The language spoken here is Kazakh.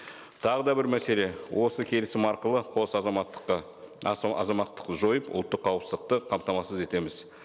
тағы да бір мәселе осы келісім арқылы қос азаматтыққа азаматтықты жойып ұлттық қауіпсіздікті қамтамасыз етеміз